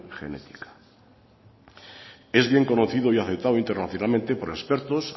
genética es bien conocido y aceptado internacionalmente por expertos